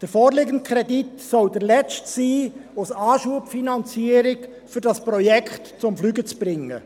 Der vorliegende Kredit soll als Anschubfinanzierung der letzte sein, um dieses Projekt zum Fliegen zu bringen.